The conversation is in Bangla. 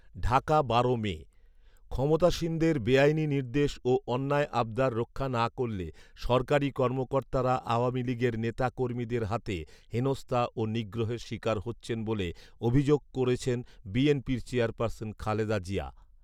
ঢাকা বারো মে, ক্ষমতাসীনদের বেআইনি নির্দেশ ও অন্যায় আবদার রক্ষা না করলে সরকারি কর্মকর্তারা আওয়ামী লীগের নেতা কর্মীদের হাতে হেনস্তা ও নিগ্রহের শিকার হচ্ছেন বলে অভিযোগ করেছেন বিএনপির চেয়ারপারসন খালেদা জিয়া